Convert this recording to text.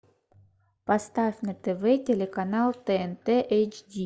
поставь на тв телеканал тнт эйч ди